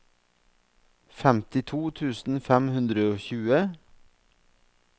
femtito tusen fem hundre og tjue